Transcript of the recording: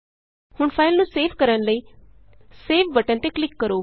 ਹੁਣ ਫਾਈਲ ਨੂੰ ਸੇਵ ਕਰਨ ਲਈ ਸੇਵ ਬਟਨ ਤੇ ਕਲਿਕ ਕਰੋ